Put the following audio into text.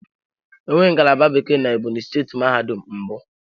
Enweghị ngalaba Bekee na Ebonyi steeti mahadum mbụ.